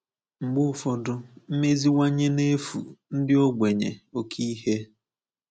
Mgbe ụfọdụ, mmeziwanye na-efu ndị ogbenye oké ihe.